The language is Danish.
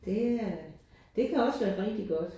Det er det kan også være rigtig godt